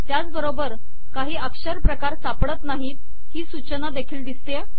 त्याचबरोबर काही अक्षर प्रकार सापडत नाहीत ही सूचना देखील दिसतेय